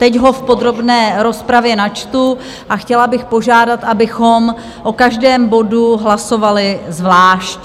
Teď ho v podrobné rozpravě načtu a chtěla bych požádat, abychom o každém bodu hlasovali zvlášť.